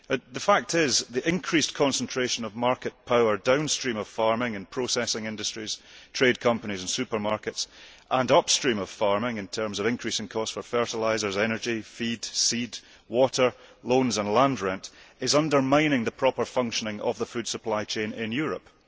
The fact is that the increased concentration of market power downstream of farming, in processing industries, trade companies and supermarkets, and upstream of farming, in terms of increasing costs for fertilisers, energy, feed, seed, water, loans and land rent, is undermining the proper functioning of the food supply chain in Europe.